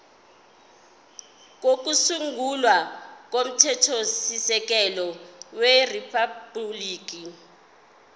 kokusungula komthethosisekelo weriphabhuliki